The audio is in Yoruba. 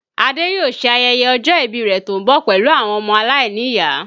Ade yóò ṣe ayẹyẹ ọjọ́ ìbí rẹ tó ń bọ̀ pẹ̀lú àwọn ọmọ aláìníyàá